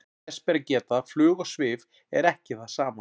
þess ber að geta að flug og svif er ekki það sama